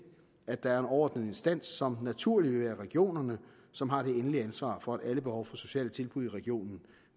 at der er en overordnet instans som naturligt vil være regionerne som har det endelige ansvar for at alle behov for sociale tilbud i regionen